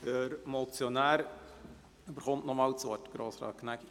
Der Motionär hat nochmals das Wort.